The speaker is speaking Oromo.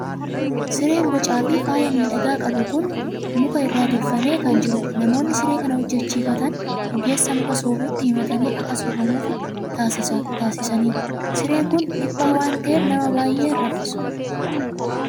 Sireen bocaa fi faaya miidhagaa qabu kun muka irraa tolfamee kan jirudha. Namoonni siree kana hojjechiifatan ogeessa muka soofutti himatanii akka tolfamuufii taasisatu. Sireen kun dhiphaa waan ta'eef, nama baay'ee hin raffisu.